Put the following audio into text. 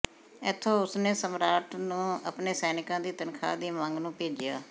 ਇੱਥੋਂ ਉਸਨੇ ਸਮਰਾਟ ਨੂੰ ਆਪਣੇ ਸੈਨਿਕਾਂ ਦੀ ਤਨਖਾਹ ਦੀ ਮੰਗ ਨੂੰ ਭੇਜਿਆ